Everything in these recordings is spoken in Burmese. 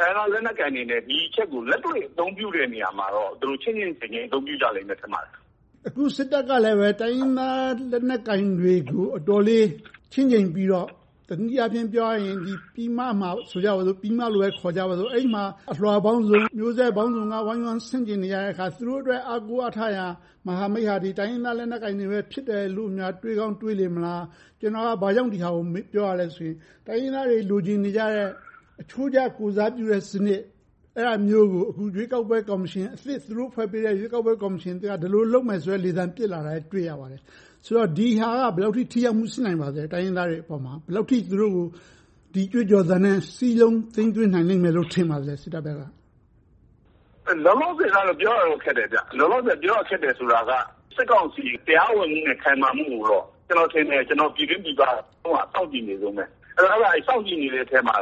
တိုင်းရင်းသားလက်နက်ကိုင်တွေနဲ့ ဒီအချက်ကို လက်တွေ့အသုံးပြုတဲ့ နေရာမှာတော့ သူတို့ချင့်ချင့်ချိန်ချိန် အသုံးပြုကြလိမ့်မယ် ထင်ပါတယ်။ အခု စစ်တပ်ကလဲ တိုင်းရင်းသားလက်နက်ကိုင်တွေ အတော်လေးချင့်ချိန်ပြီးတော့ တနည်းအားဖြင့် ပြောရရင် ပြည်မမှာ အလွှာပေါင်းစုံ မျိုးဆက်ပေါင်းစုံက ဝိုင်းဝန်းဆန့်ကျင်နေကြတော့ သူတို့အတွက် အားကိုးအားထားရ မဟာမိတ်အဖွဲ့က တိုင်းရင်းသားလက်နက်ကိုင်တွေလို့များ တွေးကောင်းတွေးနေမလား။ ကျနော်က ဒါကို ဘာကြောင့်ပြောရသလဲဆိုရင် တိုင်းရင်းသားတွေ လိုချင်နေကြတဲ့ အချိုးကျ ကိုယ်စားပြုတဲ့စနစ် အဲဒါမျိုးကို အခုရွေးကောက်ပွဲ ကော်မရှင်အသစ်၊ သူတို့ဖွဲ့ပေးတဲ့ ရွေးကောက်ပွဲ ကော်မရှင်အသစ်က ဒီလိုလုပ်မယ်ဆိုတဲ့ လေသံပစ်လာတာကို တွေ့ရပါတယ်။ ဒီဟာက ဘယ်လောက်အထိ ထိရောက်မှု ရှိနိုင်ပါလဲ။ တိုင်းရင်းသားတွေအပေါ်မှာ သူတို့ကို ဒီကြွေးကြော်သံနဲ့ စစ်တပ်ဘက်က စည်းလုံးသိမ်းသွင်းနိုင်မယ်လို့ ထင်ပါသလဲ။ လောလောဆယ်တော့ ပြောရခက်တယ်။ လောလောဆယ် ပြောရခက်တယ်ဆိုတာက စစ်ကောင်စီ တရားဝင်မှုနဲ့ ခိုင်မာမှုကိုတော့ ကျနော်ထင်တယ်၊ ပြည်တွင်းပြည်ပက စောင့်ကြည့်နေတုန်းပဲ။ စောင့်ကြည့်နေတဲ့အထဲမှာ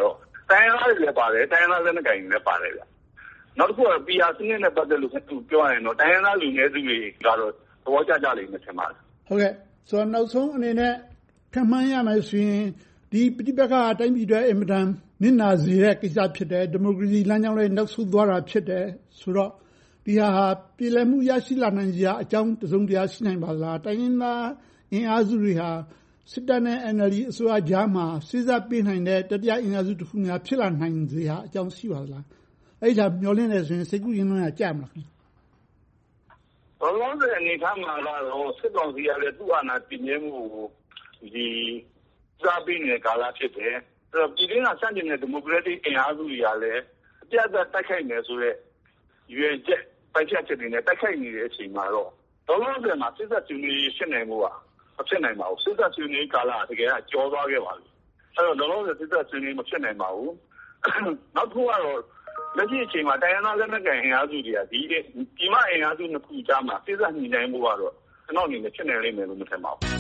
တိုင်းရင်းသားတွေလည်း ပါတယ်။ တိုင်းရင်းသားလက်နက်ကိုင်တွေလည်း ပါတယ်။ နောက်တစ်ခုက PR စနစ်နဲ့ ပတ်သက်လို့ ပြောရရင်တော့ တိုင်းရင်းသားလူနည်းစုတွေကတော့ သဘောကျကြမယ် ထင်ပါတယ်။ နောက်ဆုံးအနေနဲ့ ခန့်မှန်းရမယ်ဆိုရင် ဒီပဋိပက္ခက တိုင်းပြည်အတွက် အင်မတန် နစ်နာစေမယ့် ကိစ္စ ဖြစ်တယ်။ ဒီမိုကရေစီလမ်းကြောင်းလည်း နောက်ဆုတ်သွားတာ ဖြစ်တယ်ဆိုတော့ ဒီဟာက ပြေလည်မှု ရရှိနိုင်စရာအကြောင်း တစုံတရာ ရှိနိုင်ပါသလား။ တိုင်းရင်းသားအင်အားစုတွေဟာ စစ်တပ်နဲ့ NLD အစိုးရကြားမှာ စေ့စပ်ပေးနိုင်တဲ့ တတိယအင်အားစုများ ဖြစ်လာနိုင်စရာ အကြောင်းရှိပါသလား။ အဲဒါကို မျှော်လင့်တယ်ဆိုရင် စိတ်ကူးယဉ်လွန်ရာ ကြမလား။ လောလောဆယ်အနေအထားမှာတော့ စစ်ကောင်စီကလည်း သူ့အာဏာတည်မြဲမှုကို ဦးစားပေးနေတဲ့ကာလ ဖြစ်တယ်။ ပြည်တွင်းက ဆန့်ကျင်နေတဲ့ ဒီမိုကရက်တစ်အင်အားစုတွေကလည်း အပြတ်အသတ် တိုက်ခိုက်မယ်ဆိုတဲ့ ရည်ရွယ်ချက်၊ ပိုင်ဖြတ်ချက်တွေနဲ့ တိုက်ခိုက်နေတဲ့ အချိန်မှာတော့ လောလောဆယ်မှာ စေ့စပ်ဆွေးနွေးရေး ဖြစ်နိုင်ဖို့က မဖြစ်နိုင်ပါဘူး။ စေ့စပ်ဆွေးနွေးရေးကာလက တကယ်တော့ ကျော်သွားခဲ့ပါပြီ။ အဲဒီတော့ လောလောဆယ် စေ့စပ်ဆွေးနွေးရေး မဖြစ်နိုင်ပါဘူး။ နောက်တစ်ခုကတော့ လက်ရှိအခြေအနေမှာ တိုင်းရင်းသား လက်နက်ကိုင်အင်အားစုတွေက ပြည်မအင်အားစုနှစ်ခုကြားမှာ စေ့စပ်ညှိနှိုင်းဖို့ကတော့ ကျနော့်အမြင် ဖြစ်နိုင်လိမ့်မယ်လို့ မမြင်ပါဘူး။